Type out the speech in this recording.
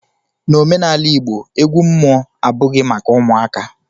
N'omenala igbo, egwu mmụọ abụghị maka ụmụaka